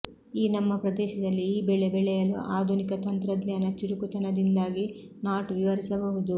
ಈ ನಮ್ಮ ಪ್ರದೇಶದಲ್ಲಿ ಈ ಬೆಳೆ ಬೆಳೆಯಲು ಆಧುನಿಕ ತಂತ್ರಜ್ಞಾನ ಚುರುಕುತನದಿಂದಾಗಿ ನಾಟ್ ವಿವರಿಸಬಹುದು